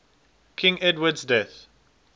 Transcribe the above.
king edward's death